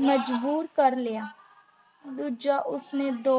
ਮਜਬੂਰ ਕਰ ਲਿਆ ਦੂਜਾ ਉਸ ਨੇ ਦੋ